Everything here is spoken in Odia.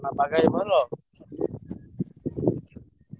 ଆଉ ସେଠୀ ଭଲ?